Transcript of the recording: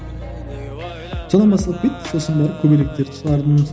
содан басталып кетті сосын барып көбелектерді шығардым